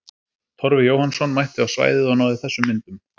Torfi Jóhannsson mætti á svæðið og náði þessum myndum.